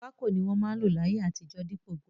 Pákò ni won ma n lò láyé àtijó dípò brush